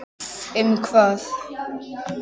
Um hvað?